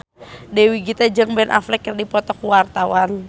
Dewi Gita jeung Ben Affleck keur dipoto ku wartawan